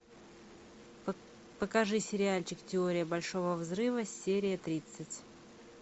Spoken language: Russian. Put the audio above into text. покажи сериальчик теория большого взрыва серия тридцать